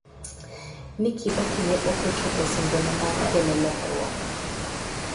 Ni Kibaki ne ok ochopo singone mar kelo lokruok.